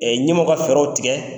Ɛ ɲɛmɔgɔ ka fɛɛrɛw tigɛ.